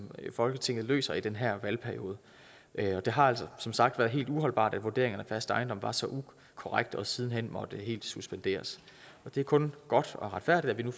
folketinget løser i den her valgperiode det har altså som sagt været helt uholdbart at vurderingen af fast ejendom var så ukorrekt og siden hen måtte helt suspenderes det er kun godt og retfærdigt at vi nu